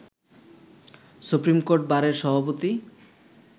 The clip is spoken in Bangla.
সুপ্রিমকোর্ট বারের সভাপতি